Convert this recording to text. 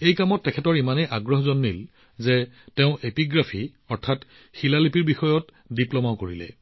মন এই কামত ইমানেই নিমগ্ন হৈ পৰিছিল যে তেওঁ এপিগ্ৰাফী অৰ্থাৎ শিলালিপিৰ সৈতে জড়িত বিষয়টোৰ ডিপ্লমাও কৰিছিল